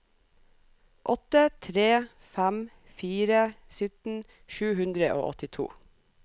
åtte tre fem fire sytten sju hundre og åttito